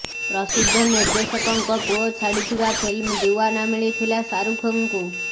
ପ୍ରସିଦ୍ଧ ନିର୍ଦ୍ଦେଶକଙ୍କ ପୁଅ ଛାଡିଥିବା ଫିଲ୍ମ ଦିୱାନା ମିଳିଥିଲା ଶାହାରୁଖ୍ ଙ୍କୁ